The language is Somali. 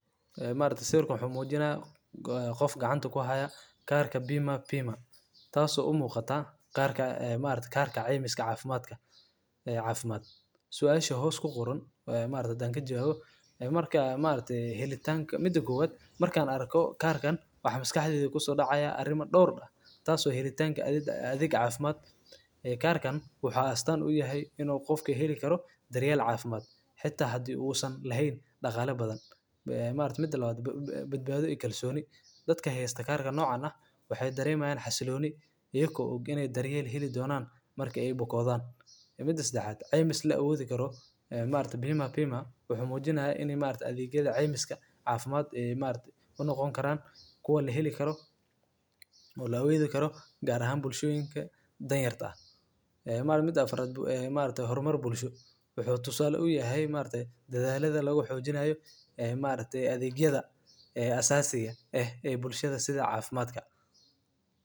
Haa maalinta soo kooban xamuujin qof gacanta ku haya kaarka bima. bima taasoo u muuqata kaarka maalintii kaarka caymis caafimaadka caafimaad. Su'aalo shahood ku quran maalinta dankeeya marka maalinta helitaanka. Mida guwad markaan arko kaarkan wax miskixi ku dhaca ay arrimo dhowr dha. Taasoo helitaanka adiga caafimaad ee kaarkan wuxuu astaan u yahay in qofkay hili karo dariiyo caafimaad xitaa haddii uusan laheyn dhaqaale badan. Maalinta mid dhalwaad badbaado i kalooni dadka haysata kaarka noocan ah. Waxay dareemayn xasilooni iyagu ugu inay darii heelyi doonaan marka ay bukaadaan. Midas dhacaad caymis leh u awoodi karo. Maalinta bima wuxuu muujinahay in maalinta adeegyada caymiska caafimaad maalintii una noqon karaan kuwa li heli karo .